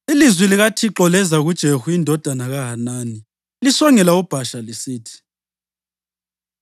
Ilizwi likaThixo leza kuJehu indodana kaHanani lisongela uBhasha lisithi: